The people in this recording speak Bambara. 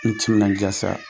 I timinanja sa,